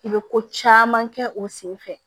I bɛ ko caman kɛ o senfɛ